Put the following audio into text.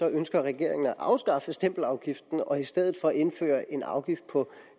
ønsker regeringen at afskaffe stempelafgiften og i stedet for indføre en afgift på